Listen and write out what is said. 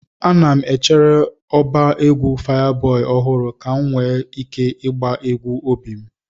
Ana m echere ọba egwu Fayaboi ọhụrụ ka m nwee ike ịgba egwu obi m.